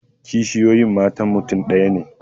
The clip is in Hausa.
Kishiyoyi matan mutum ɗaya ne